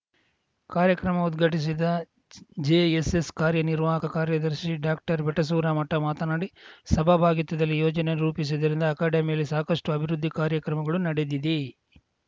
ಕಾರ್ಯಕ್ರಮ ಉದ್ಘಾಟಿಸಿದ ಜೆಎಸ್‌ಎಸ್‌ ಕಾರ್ಯನಿರ್ವಾಹಕ ಕಾರ್ಯದರ್ಶಿ ಡಾಕ್ಟರ್ಬೆಟಸೂರ ಮಠ ಮಾತನಾಡಿ ಸಹಭಾಗಿತ್ವದಲ್ಲಿ ಯೋಜನೆ ರೂಪಿಸಿದ್ದರಿಂದ ಅಕಾಡೆಮಿಯಲ್ಲಿ ಸಾಕಷ್ಟುಅಭಿವೃದ್ಧಿ ಕಾರ್ಯಗಳು ನಡೆದಿದೆ